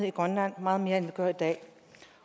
i grønland meget mere end vi gør i dag